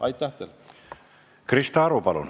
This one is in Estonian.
Krista Aru, palun!